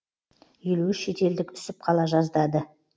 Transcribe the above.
елу үш шетелдік үсіп қала жаздады